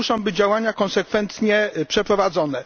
I to muszą być działania konsekwentnie przeprowadzone.